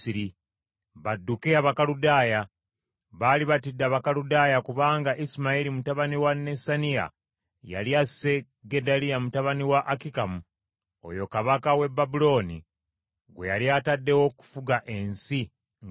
badduke Abakaludaaya. Baali batidde Abakaludaaya kubanga Isimayiri mutabani wa Nesaniya yali asse Gedaliya mutabani wa Akikamu, oyo kabaka w’e Babulooni gwe yali ataddewo okufuga ensi nga gavana.